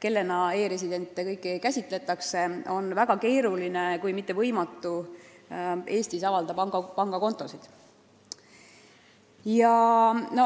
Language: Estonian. kellena kõiki e-residente käsitatakse, on väga keeruline, kui mitte võimatu Eestis pangakontosid avada.